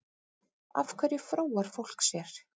Af hverju fróar fólk sér?